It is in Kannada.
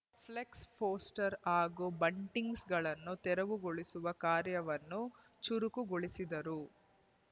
ಫ್ಲ್ ಕ್ಸ ಪೋಸ್ಟರ್ ಹಾಗೂ ಬಂಟಿಂಗ್ಸಗಳನ್ನು ತೆರವುಗೊಳಿಸುವ ಕಾರ್ಯವನ್ನು ಚುರುಕುಗೊಳಿಸಿದರು